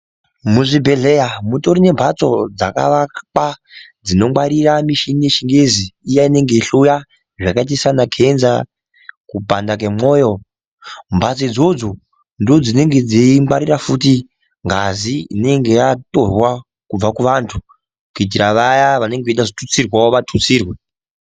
Muzvibhedhleya mutori nembatso dzakavakwa dzinongwarira michini yechingezi iya inenge yeihloya zvakaita sanakenza kupanda kwemwoyo mbatso idzodzo ndodzinenge dzeingwarira futi ngazi inenge yatorwa kubva kuvantu kuitira vaya vanenge veida kuzotutsirwa vatutsirwe.